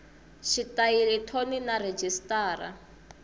xitayili thoni na rhejisitara